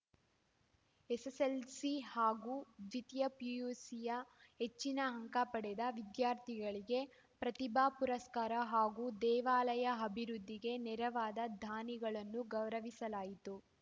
SSLC ಹಾಗೂ ದ್ವಿತೀಯ ಪಿಯುಸಿಯ ಹೆಚ್ಚಿನ ಅಂಕಪಡೆದ ವಿದ್ಯಾರ್ಥಿಗಳಿಗೆ ಪ್ರತಿಭಾ ಪುರಸ್ಕಾರ ಹಾಗೂ ದೇವಾಲಯ ಅಭಿವೃದ್ಧಿಗೆ ನೆರವಾದ ದಾನಿಗಳನ್ನು ಗೌರವಿಸಲಾಯಿತು